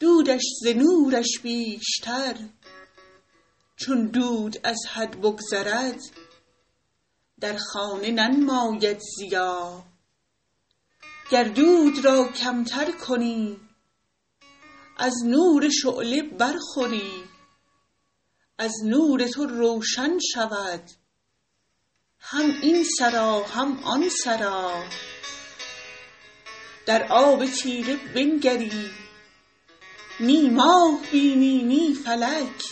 دودش ز نورش بیشتر چون دود از حد بگذرد در خانه ننماید ضیا گر دود را کمتر کنی از نور شعله برخوری از نور تو روشن شود هم این سرا هم آن سرا در آب تیره بنگری نی ماه بینی نی فلک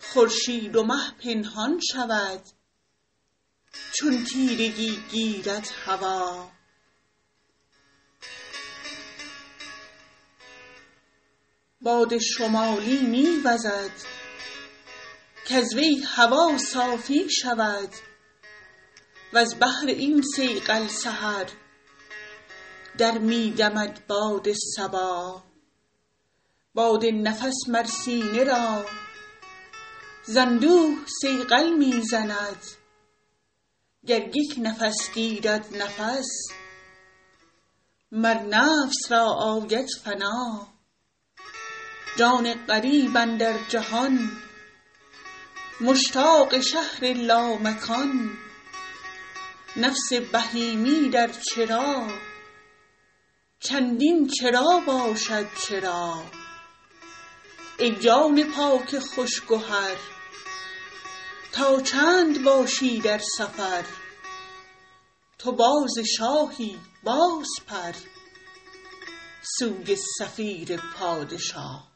خورشید و مه پنهان شود چون تیرگی گیرد هوا باد شمالی می وزد کز وی هوا صافی شود وز بهر این صیقل سحر در می دمد باد صبا باد نفس مر سینه را ز اندوه صیقل می زند گر یک نفس گیرد نفس مر نفس را آید فنا جان غریب اندر جهان مشتاق شهر لامکان نفس بهیمی در چرا چندین چرا باشد چرا ای جان پاک خوش گهر تا چند باشی در سفر تو باز شاهی بازپر سوی صفیر پادشا